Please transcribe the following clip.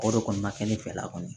O de kɔni ma kɛ ne fɛla kɔni